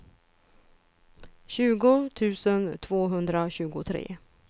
tjugo tusen tvåhundratjugotre